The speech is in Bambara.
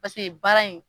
Paseke baara in